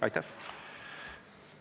Aitäh!